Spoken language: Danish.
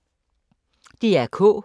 DR K